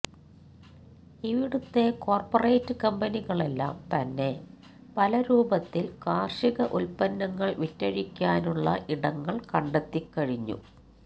ഇവിടുത്തെ കോര്പ്പറേറ്റ് കമ്പനികളെല്ലാം തന്നെ പല രൂപത്തില് കാര്ഷിക ഉല്പ്പന്നങ്ങള് വിറ്റഴിക്കാനുള്ള ഇടങ്ങള് കണ്ടെത്തിക്കഴിഞ്ഞു